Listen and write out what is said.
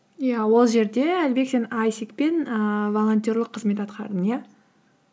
иә ол жерде әлібек сен айсек пен ііі волонтерлік қызмет атқардың иә